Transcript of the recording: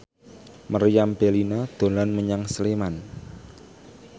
Meriam Bellina dolan menyang Sleman